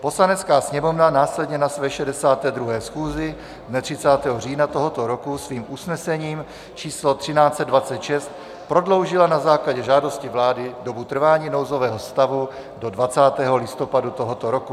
Poslanecká sněmovna následně na své 62. schůzi dne 30. října tohoto roku svým usnesením č. 1326 prodloužila na základě žádosti vlády dobu trvání nouzového stavu do 20. listopadu tohoto roku.